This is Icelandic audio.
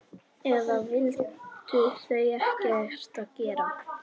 Eða vildu þau ekkert gera?